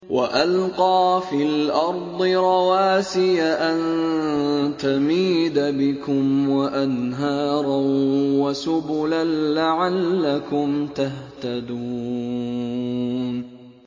وَأَلْقَىٰ فِي الْأَرْضِ رَوَاسِيَ أَن تَمِيدَ بِكُمْ وَأَنْهَارًا وَسُبُلًا لَّعَلَّكُمْ تَهْتَدُونَ